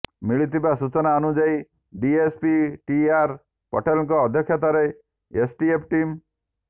ମିଳିଥିବା ସୂଚନା ଅନୁଯାୟୀ ଡିଏସପି ଟି ଆର୍ ପଟେଲଙ୍କ ଅଧ୍ୟକ୍ଷତାରେ ଏସଟିଏଫ ଟିମ୍